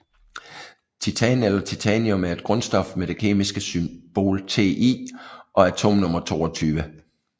Titan eller titanium er et grundstof med det kemiske symbol Ti og atomnummer 22